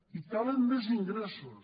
i calen més ingressos